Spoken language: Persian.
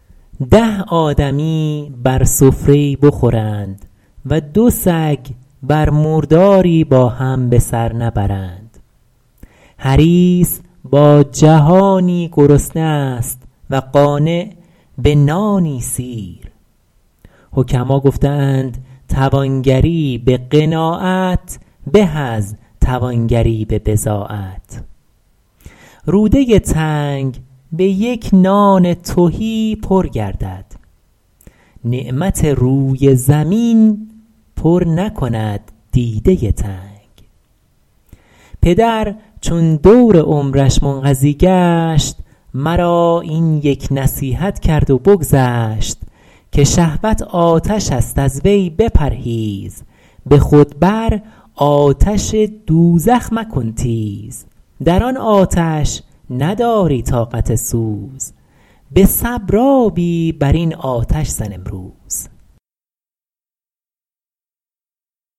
ده آدمی بر سفره ای بخورند و دو سگ بر مرداری با هم به سر نبرند حریص با جهانی گرسنه است و قانع به نانی سیر حکما گفته اند توانگری به قناعت به از توانگری به بضاعت روده تنگ به یک نان تهی پر گردد نعمت روی زمین پر نکند دیده تنگ پدر چون دور عمرش منقضی گشت مرا این یک نصیحت کرد و بگذشت که شهوت آتش است از وی بپرهیز به خود بر آتش دوزخ مکن تیز در آن آتش نداری طاقت سوز به صبر آبی بر این آتش زن امروز